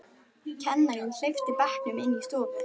Kennarinn hleypti bekknum inn í stofu.